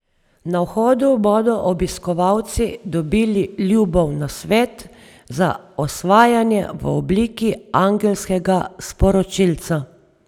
Na vhodu bodo obiskovalci dobili Ljubov nasvet za osvajanje v obliki angelskega sporočilca.